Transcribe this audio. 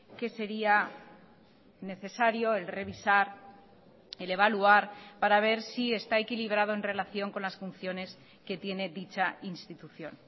que sería necesario el revisar el evaluar para ver si está equilibrado en relación con las funciones que tiene dicha institución